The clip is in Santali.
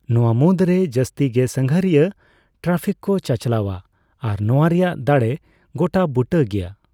ᱱᱚᱣᱟ ᱢᱩᱫᱽᱨᱮ ᱡᱟᱥᱛᱤᱜᱮ ᱥᱟᱸᱜᱷᱟᱨᱤᱭᱟᱹ ᱴᱨᱟᱯᱷᱤᱠ ᱠᱚ ᱪᱟᱪᱞᱟᱣᱼᱟ ᱟᱨ ᱱᱚᱣᱟ ᱨᱮᱭᱟᱜ ᱫᱟᱲᱮ ᱜᱚᱴᱟ ᱵᱩᱴᱟᱹ ᱜᱮᱭᱟ ᱾